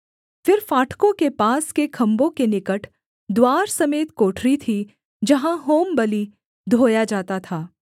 फिर फाटकों के पास के खम्भों के निकट द्वार समेत कोठरी थी जहाँ होमबलि धोया जाता था